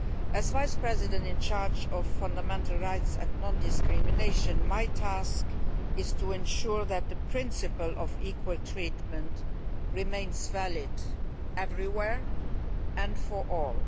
As Vice President in charge of fundamental rights and non discrimination, I have the task of ensuring that the principle of equal treatment remains valid everywhere and for all.